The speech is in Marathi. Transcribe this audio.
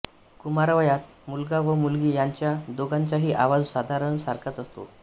कुमारवयात मुलगा व मुलगी यांचा दोघांचाही आवाज साधारण सारखाच असतो